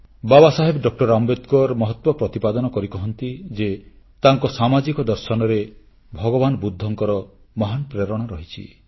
ବାବାସାହେବ ଡ ଆମ୍ବେଦକର ଏହାର ମହତ୍ୱ ପ୍ରତିପ୍ରଦାନ କରି କହନ୍ତି ଯେ ତାଙ୍କ ସାମାଜିକ ଦର୍ଶନରେ ଭଗବାନ ବୁଦ୍ଧଙ୍କର ମହାନ ପ୍ରେରଣା ରହିଛି